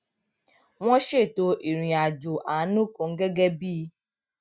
wón ṣètò ìrìn àjò àánú kan gégé bí